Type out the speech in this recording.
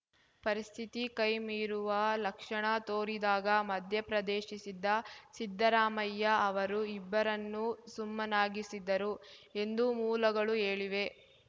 ಪರಿಸ್ಥಿತಿ ಕೈ ಮೀರುವ ಲಕ್ಷಣ ತೋರಿದಾಗ ಮಧ್ಯಪ್ರದೇಶಿಸಿದ ಸಿದ್ದರಾಮಯ್ಯ ಅವರು ಇಬ್ಬರನ್ನು ಸುಮ್ಮನಾಗಿಸಿದರು ಎಂದು ಮೂಲಗಳು ಹೇಳಿವೆ